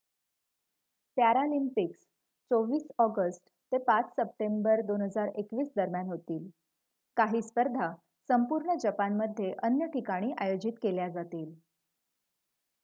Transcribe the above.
Paralympics 24 August ते 5 September 2021 दरम्यान होतील काही स्पर्धा संपूर्ण जपानमध्ये अन्य ठिकाणी आयोजित केल्या जातील